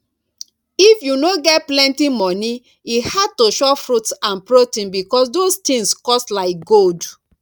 if you no get plenty money e hard to chop fruits and protein because those things cost like gold